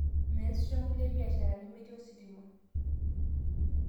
Meesisho nkulie biasharani meeti ositima